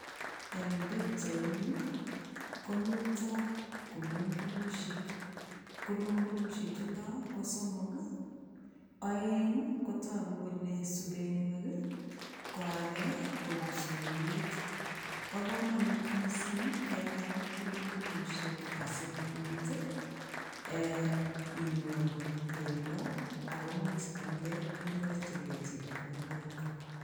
Eng' pichaini komiten kulung'ulushek, kulung'ulushe chuton ko somok, oeng kotoku kelee subenwek ko akee ko kipsoiwet, bokomonut mising kenam kulung'ulushek asikobit eeh inyoru bendo ak koimuch ialde inyorchike chepkondok.